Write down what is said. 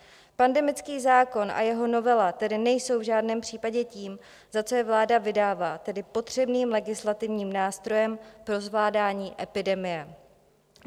Pandemický zákon a jeho novela tedy nejsou v žádném případě tím, za co je vláda vydává, tedy potřebným legislativním nástrojem pro zvládání epidemie.